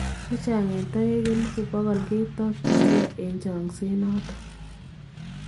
Chechang en taeek 100,000 ketakyinkee en chenkseet noton.